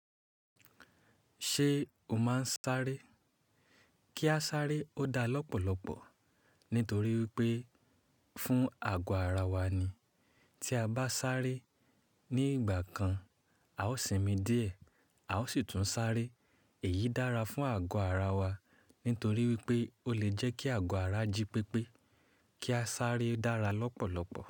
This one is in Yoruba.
Ṣé o máa ń sáré? Kí a sáré ó dá lọ́pọ̀lọpọ̀ nítorí wípé fún àgọ́ ara wa ni. Tí a bá sáré ní ìgbà kan, a ó sinmi díẹ̀, a ó sì tún sáré. Èyí dára fún àgọ́ ara wa nítorí wípé ó lè jẹ́ kí àgọ́ ara jí pépé. Kí a sáré dára lọ́pọ̀lọpọ̀